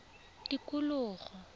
tikologo